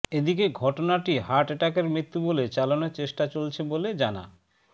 এদিকে ঘটনাটি হার্ট অ্যাটাকে মৃত্যু বলে চালানোর চেষ্টা চলছে বলে জানা